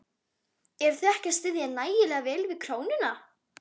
Eruð þið ekki að styðja nægilega vel við krónuna?